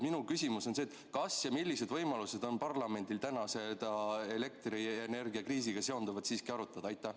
Minu küsimus on: kas ja millised võimalused on parlamendil täna elektrienergiakriisiga seonduvat siiski arutada?